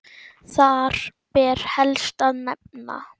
Þar ber helst að nefna